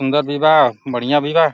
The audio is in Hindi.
सुन्दर विवाह बढ़ियां